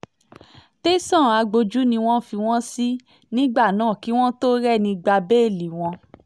tẹ̀sán agbójú ni wọ́n fi wọ́n sí nígbà náà kí wọ́n tóó rẹ́ni gba bẹ́ẹ́lí wọn